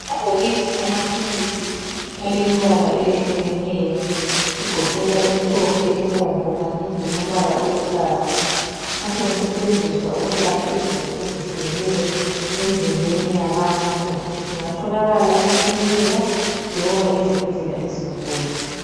Amabhokisi amaphilisi alemibala eyehlukeneyo egoqela emhlophe, ebomvu kanye lombala oluhlaza asengasetshenziswa ukwelapha izifo ezehlukeneyo emzimbeni yabantu. Ingatholakala emakilinika loba ezibhedlela ezinkulu.